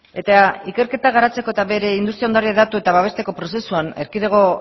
eta ikerketa garatzeko eta bere industria ondare hedatu eta babesteko prozesuan erkidego